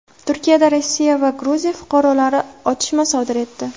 Turkiyada Rossiya va Gruziya fuqarolari otishma sodir etdi.